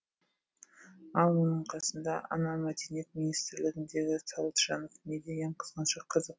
ал бұның қасында ана мәдениет министрлігіндегі сауытжанов не деген қызғаншақ қазақ